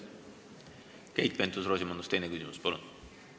Keit Pentus-Rosimannus, teine küsimus, palun!